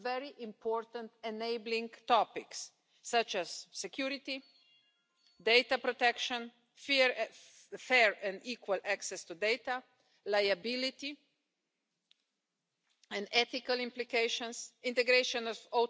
Es importante crear puentes para que la convivencia entre los viejos y los nuevos modos de transporte se desarrolle fácilmente y de una forma progresiva para así adelantarse a los avances a los que se va a ver sometido el sector.